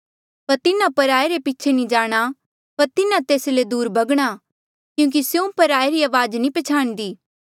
पर तिन्हा पराये रे पीछे नी जाणा पर तिन्हा तेस ले दूर भगणा क्यूंकि स्यों पराये री अवाज नी पछयाणंदी